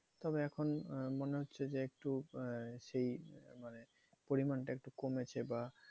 তবে এখন মনে হচ্ছে যে, একটু আহ সেই মানে পরিমানটা একটু কমেছে বা